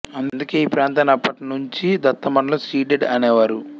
అందుకే ఈ ప్రాంతాన్ని అప్పటి నుంచి దత్తమండలం సీడెడ్ అనేవారు